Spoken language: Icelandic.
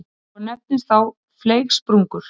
og nefnast þá fleygsprungur.